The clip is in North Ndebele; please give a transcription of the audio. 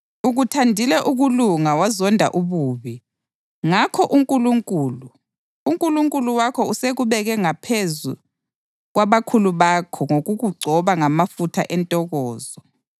Ukuthandile ukulunga wazonda ububi; ngakho uNkulunkulu, uNkulunkulu wakho usekubeke ngaphezu kwabakhula bakho ngokukugcoba ngamafutha entokozo.” + 1.9 AmaHubo 45.6-7